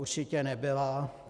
Určitě nebyla.